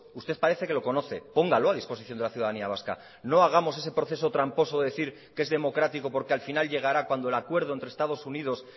usted parece que lo conoce póngalo a disposición de la ciudadanía vasca no hagamos ese proceso tramposo de decir que es democrático porque al final llegará cuandoel acuerdo entre estados unidos